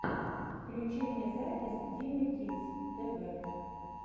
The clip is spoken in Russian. включи мне запись димы кидс тэ вэ